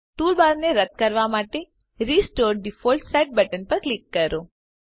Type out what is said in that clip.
ટૂલબારને રદ કરવા માટે રીસ્ટોર ડિફોલ્ટ સેટ બટન પર ક્લિક કરો